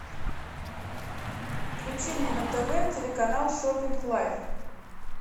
включи мне на тв телеканал шопинг лайф